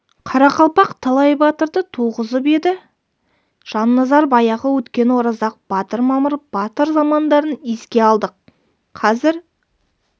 қарақалпақ талай батырды туғызып еді жанназар баяғы өткен оразақ батыр мамыр батыр замандарын еске алды қазір